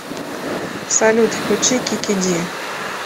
салют включи кики ди